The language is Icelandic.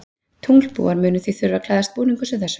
Tunglbúar munu því þurfa að klæðast búningum sem þessum.